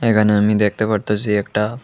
এখানে আমি দেখতে পারতেছি একটা--